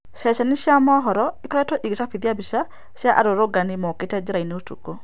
Ceceni cia mohoro ĩkoretwo ikĩcabithia mbica cia arũrũngani makote njĩra-inĩ ũtukũ